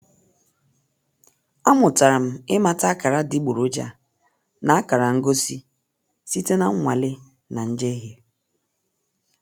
Amụtara m ịmata akara adịgboroja na akara ngosi site na nnwale na njehie.